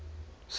safety